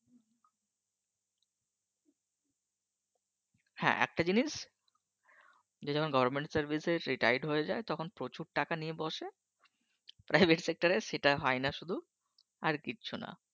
হ্যাঁ একটা জিনিস যে যখন Government Service সে Retired হয়ে যায় তখন প্রচুর টাকা নিয়ে বসে Private Sector রে সেটা হয় না শুধু আর কিচ্ছু না।